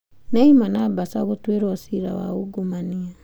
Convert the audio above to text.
Neymar na Barca gũtuĩrwo ciira wa ungumania